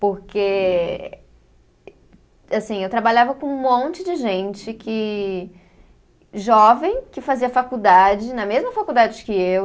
Porque, assim, eu trabalhava com um monte de gente que. Jovem, que fazia faculdade, na mesma faculdade que eu.